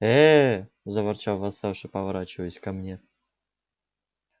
ээ заворчал восставший поворачиваясь ко мне